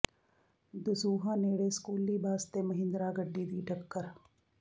ਦਸੂਹਾ ਨੇੜੇ ਸਕੂਲੀ ਬੱਸ ਤੇ ਮਹਿੰਦਰਾ ਗੱਡੀ ਦੀ ਟੱਕਰ